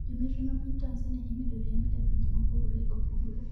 Jometre ma piny Tanzania imedo riembi e pinje mopogore opogore